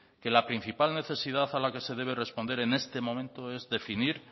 que la principal necesidad a la que se debe responde en este momento es definir